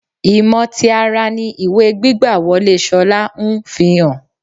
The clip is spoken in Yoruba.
Ìmọ̀ ti ara ni ìwé gbígbà-wọlé Ṣolá ń fihàn.